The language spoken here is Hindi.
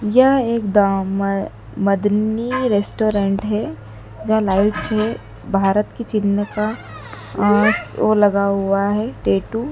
यह एकदाम मदनी रेस्टोरेंट है। जहां लाइट्स है। भारत की चिन्ह का और वह लगा हुआ है टैटू ।